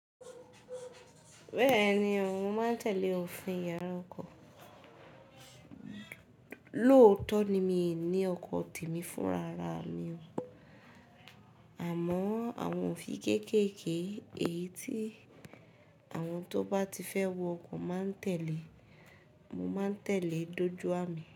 Bẹ́ẹ̀ni, mo máa ń tẹ̀lé òfin yàrá ọkọ̀. Lóòótọ́ ni mi ní ọkọ̀ tèmi fún rara mi, àmọ́ àwọn òfin kéékèèké èyí tí àwọn tó bá ti fẹ́ wọ ọkọ̀ máa ń tẹ̀lé, mo máa ń tẹ̀lé dójú à mi.